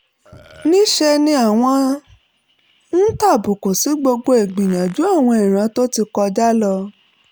ní í ṣe ni àwọn ń tàbùkù sí gbogbo ìgbìyànjú àwọn ìran tó ti kọjá lọ